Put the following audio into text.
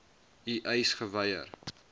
u eis geweier